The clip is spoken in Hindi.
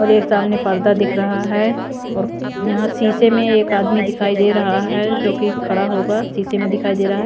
और एक सामने पर्दा दिख रहा है और यहां शीशे में एक आदमी दिखाई दे रहा है जो कि खड़ा होगा शीशे में दिखाई दे रहा है।